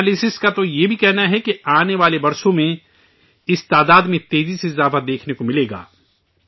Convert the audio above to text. analysts کا تو یہ بھی کہنا ہے کہ آنے والے برسوں میں اس تعداد میں تیزاچھال دیکھنے کو ملے گا